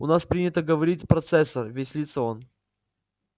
у нас принято говорить процессор веселится он